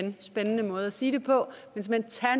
en spændende måde at sige det på